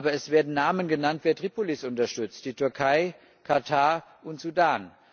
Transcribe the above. Aber es werden Namen genannt, wer Tripolis unterstützt die Türkei, Katar und Sudan.